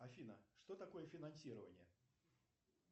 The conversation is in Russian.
афина что такое финансирование